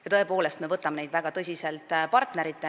Me tõepoolest võtame neid partneritena väga tõsiselt.